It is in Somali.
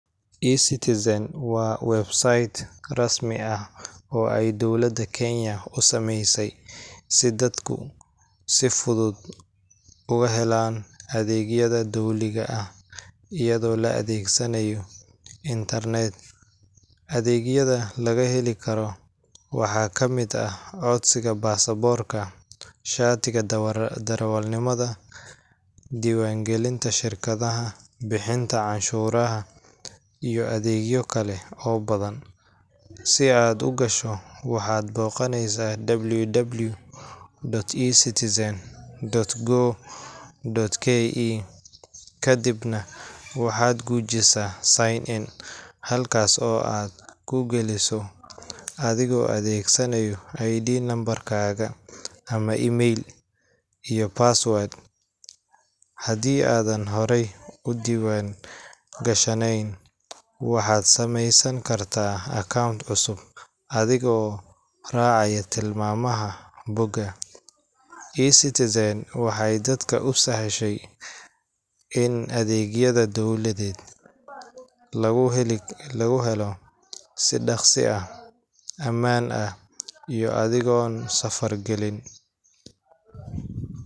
eCitizen waa website rasmi ah oo ay dowladda Kenya u sameysay si dadku si fudud uga helaan adeegyada dowliga ah iyadoo la adeegsanayo internet. Adeegyada laga heli karo waxaa ka mid ah codsiga baasaboorka, shatiga darawalnimada, diiwaangelinta shirkadaha, bixinta canshuuraha, iyo adeegyo kale oo badan. Si aad u gasho, waxaad booqaneysaa www.ecitizen.go.ke, kadibna waxaad gujisaa Sign In, halkaas oo aad ku galeyso adigoo adeegsanaya ID number kaaga ama email, iyo password. Haddii aadan horey u diiwaangashanayn, waxaad sameysan kartaa account cusub adigoo raacaya tilmaamaha bogga. eCitizen waxay dadka u sahashay in adeegyada dowladeed lagu helo si dhakhso ah, ammaan ah, iyo adigoon safar gelin